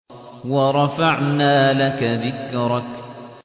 وَرَفَعْنَا لَكَ ذِكْرَكَ